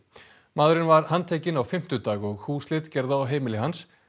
maðurinn var handtekinn á fimmtudag og húsleit gerð á heimili hans